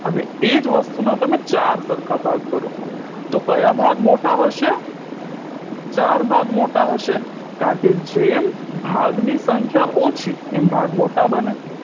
અને એ જ વસ્તુના તમે ચાર સરખા ભાગ કરો તો કયા ભાગ મોટા હશે ચાર ભાગ મોટા હશે કારણકે જેમ ભાગની સંખ્યા ઓછી એમ ભાગ મોટા બને